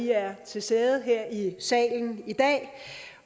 er til stede her i salen i dag